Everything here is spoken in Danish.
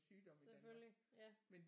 Selvfølgelig ja